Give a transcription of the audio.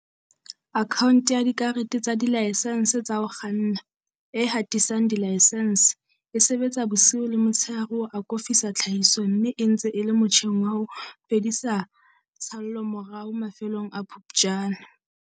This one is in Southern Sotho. Akhaonte ya dikarete tsa Dilaesense tsa ho kganna, e hatisang dilaesense, e sebetsa bosiu le motsheare ho akofisa tlhahiso mme e ntse e le motjheng wa ho fedisa tshallomorao mafelong a Phuptjane.